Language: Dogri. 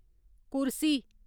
कुरसी